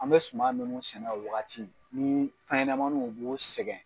An bɛ suman minnu sɛnɛ o wagati ni fɛnɲɛnɛmaninw b'o sɛgɛn.